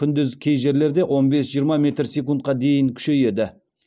күндіз кей жерлерде он бес жиырма метр секундқа дейін күшейеді